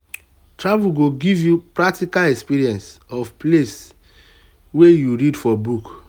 travel go give you practical experience of place wey you read for book.